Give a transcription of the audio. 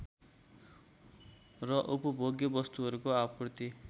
र उपभोग्य वस्तुहरूको आपूर्ति